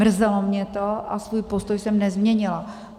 Mrzelo mě to a svůj postoj jsem nezměnila.